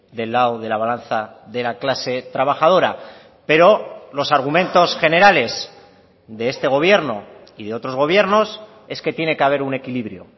del lado de la balanza de la clase trabajadora pero los argumentos generales de este gobierno y de otros gobiernos es que tiene que haber un equilibrio